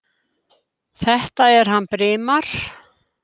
Þetta er hann Brimar.